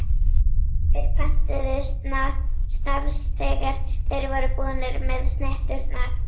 Þeir pöntuðu snafs þegar þeir voru búnir með snitturnar.